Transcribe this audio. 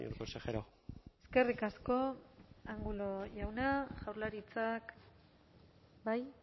consejero eskerrik asko angulo jauna jaurlaritzak bai